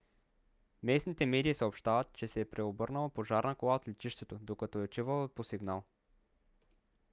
местните медии съобщават че се е преобърнала пожарна кола от летището докато е отивала по сигнал